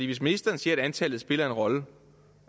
hvis ministeren siger at antallet spiller en rolle